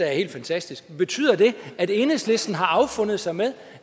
er helt fantastisk betyder det at enhedslisten har affundet sig med